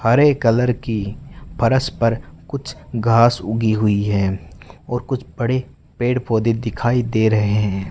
हरे colour की फरस पर कुछ घास उगी हुई है और कुछ बड़े पेड़ पौधे दिखाई दे रहें हैं।